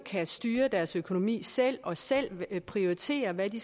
at styre deres økonomi selv og selv kan prioritere hvad de